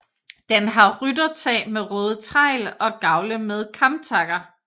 Den har ryttertag med røde tegl og gavle med kamtakker